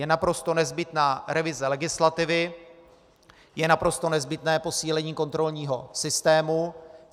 Je naprosto nezbytná revize legislativy, je naprosto nezbytné posílení kontrolního systému.